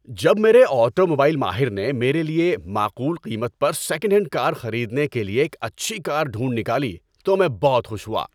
جب میرے آٹوموبائل ماہر نے میرے لیے معقول قیمت پر سیکنڈ ہینڈ کار خریدنے کے لیے ایک اچھی کار ڈھونڈ نکالی تو میں بہت خوش ہوا۔